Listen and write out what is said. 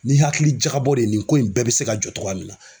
Ni hakili jagabɔ de ye nin ko in bɛɛ bɛ se ka jɔ cogoya min na.